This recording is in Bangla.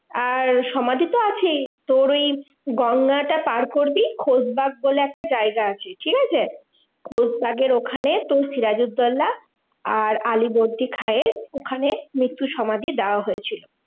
আর সমাধি তো আছেই, তোর ওই গঙ্গাটা পার করবি খোশবাগ বলে একটা জায়গা আছে, ঠিকাছে? খোশবাগের ওখানে তোর সিরাজুদ্দোল্লা আর আলীবর্দী খাঁয়ের ওখানে মৃত্যু সমাধি দেওয়া হয়েছিল।